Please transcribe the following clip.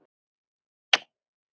Að morgni hins